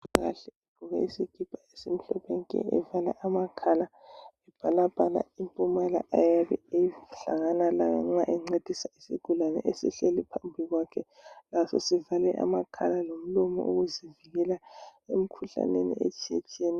Umongikazi ogqoke isikipa esimhlophe , evale amakhala ebhalabhala impumela iyabe ehlangana layo nxa encedisa isigulane esihlezi phambi kwakhe also sivale amakhala lomlomo ukuzivikela emkhuhlaneni etshiyetshiyeneyo